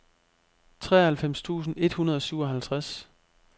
treoghalvfems tusind et hundrede og syvoghalvtreds